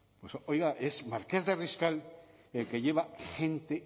oiga es marqués de riscal el que lleva gente